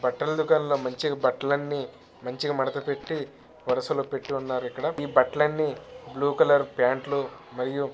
బట్టల దుకాణం మంచిగా బట్టలు మాడతపెట్టి వరుసలో పెట్టి ఉన్నారు. ఇక్కడ ఇ బట్టాలన్నీ బ్ల్యూ కలర్ ప్యాంట్ లు మరియు--